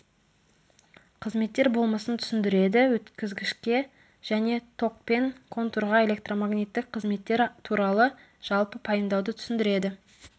қызметтер болмысын түсіндіреді өткізгішке және токпен контурға электромагниттік қызметтер туралы жалпы пайымдауды түсіндіреді